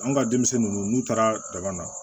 Anw ka denmisɛnnin ninnu n'u taara daba na